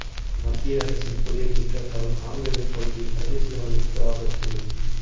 மத்திய அரசின் புதிய திட்டத்தால் காங்கயம் பகுதி அரிசி ஆலைகளுக்கு ஆபத்து